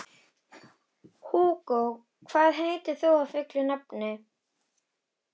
Hugó, hvað heitir þú fullu nafni?